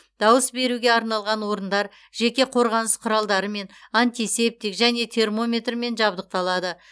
дауыс беруге арналған орындар жеке қорғаныс құралдарымен антисептик және термометрмен жабдықталады